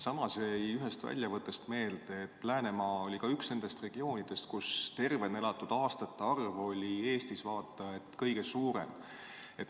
Samas jäi ühest väljavõttest meelde, et Läänemaa oli üks nendest regioonidest, kus tervena elatud aastate arv oli Eestis üks suuremaid, vaata et kõige suurem.